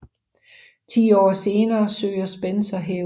Ti år senere søger Spencer hævn